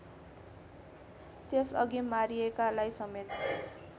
त्यसअघि मारिएकालाई समेत